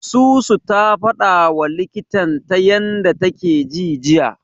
Susu ta fadawa likitan ta yanda take ji jiya.